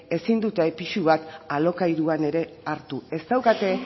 ezin dute pisu bat alokairuan ere hartu ez daukate